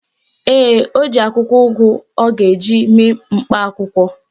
Ee, o ji akwụkwọ ugu ọ ga-eji mee mkpa akwụkwọ.